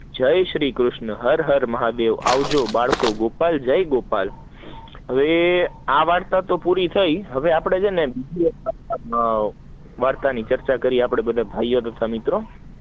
જાય શ્રી કૃષ્ણ, હાર હાર મહા દેવ, આવજો બાળકો ગોપલ, જય ગોપાલ હવે આ વાર્તા તો પુરી થયી, હવે આપડે બીજી વવર્ત ની ચર્ચા કરીયે, આપડે ભાઈઓ તથા બેહનો